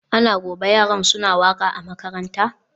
Ana gobe yaran suna waka a makaranta?